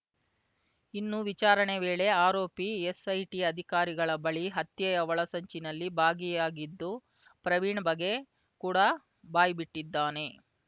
ಇನ್ನು ವಿಚಾರಣೆ ವೇಳೆ ಆರೋಪಿ ಎಸ್‌ಐಟಿ ಅಧಿಕಾರಿಗಳ ಬಳಿ ಹತ್ಯೆಯ ಒಳಸಂಚಿನಲ್ಲಿ ಭಾಗಿಯಾಗಿದ್ದು ಪ್ರವೀಣ್‌ ಬಗ್ಗೆ ಕೂಡ ಬಾಯ್ಬಿಟ್ಟಿದ್ದಾನೆ